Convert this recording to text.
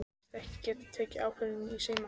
Segist ekki geta tekið ákvörðun í síma.